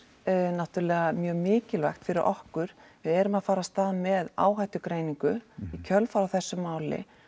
náttúrulega mjög mikilvægt fyrir okkur við erum að fara af stað með áhættugreiningu í kjölfar á þessu máli